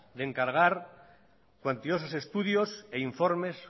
de encargar cuantiosos estudios e informes